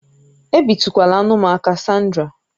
Ebitukwala anụ m aka, Sandra!